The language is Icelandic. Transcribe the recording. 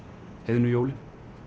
heiðnu jólin